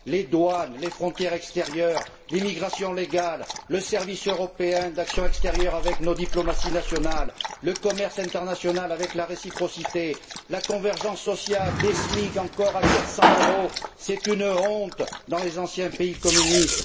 Les douanes, les frontières extérieures, l'immigration légale, le service européen pour l'action extérieure avec nos diplomaties nationales, le commerce international avec la réciprocité, la convergence sociale, des SMIC encore à 400 euros c'est une honte dans les anciens pays communistes.